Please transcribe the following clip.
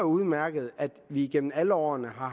udmærket at der igennem alle årene har